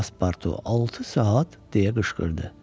Paspartu altı saat deyə qışqırdı.